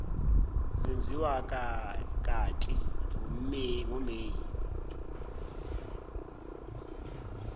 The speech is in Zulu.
zenziwa kati ngomeyi